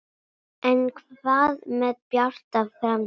En hvað með Bjarta framtíð?